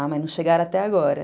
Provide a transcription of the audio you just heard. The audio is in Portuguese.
Ah, mas não chegaram até agora.